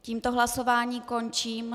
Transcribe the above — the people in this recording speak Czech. Tímto hlasování končím.